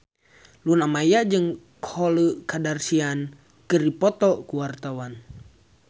Luna Maya jeung Khloe Kardashian keur dipoto ku wartawan